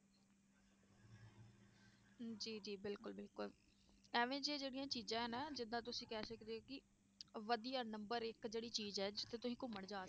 ਜੀ ਜੀ ਬਿਲਕੁਲ ਬਿਲਕੁਲ ਇਵੇਂ 'ਚ ਜਿਹੜੀਆਂ ਚੀਜ਼ਾਂ ਹੈ ਨਾ ਜਿੱਦਾਂ ਤੁਸੀਂ ਕਹਿ ਸਕਦੇ ਹੋ ਕਿ ਵਧੀਆ number ਇੱਕ ਜਿਹੜੀ ਚੀਜ਼ ਹੈ ਜਿੱਥੇ ਤੁਸੀਂ ਘੁੰਮਣ ਜਾ